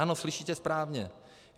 Ano, slyšíte správně.